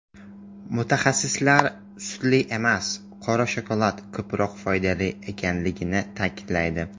Mutaxassislar sutli emas, qora shokolad ko‘proq foydali ekanligini ta’kidlaydi.